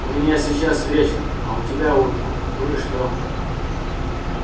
у меня сейчас вечер а у тебя утро ну и что